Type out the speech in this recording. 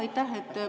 Aitäh!